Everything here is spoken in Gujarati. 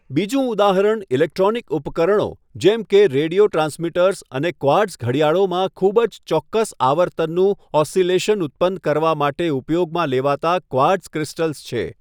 બીજું ઉદાહરણ ઇલેક્ટ્રોનિક ઉપકરણો જેમ કે રેડિયો ટ્રાન્સમિટર્સ અને ક્વાર્ટઝ ઘડિયાળોમાં ખૂબ જ ચોક્કસ આવર્તનનું ઓસિલેશન ઉત્પન્ન કરવા માટે ઉપયોગમાં લેવાતા ક્વાર્ટઝ ક્રિસ્ટલ્સ છે.